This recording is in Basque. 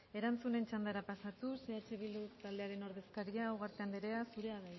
erantzuten txandara pasatuz eh bildu taldearen ordezkaria ugarte andrea zurea